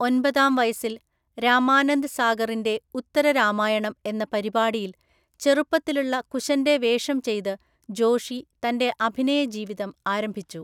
ഒൻപതാം വയസ്സിൽ, രാമാനന്ദ് സാഗറിന്റെ ഉത്തര രാമായണം എന്ന പരിപാടിയില്‍ ചെറുപ്പത്തിലുള്ള കുശന്റെ വേഷം ചെയ്ത് ജോഷി തന്റെ അഭിനയ ജീവിതം ആരംഭിച്ചു.